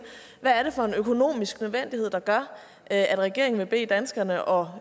hvad det er for en økonomisk nødvendighed der gør at regeringen vil bede danskerne og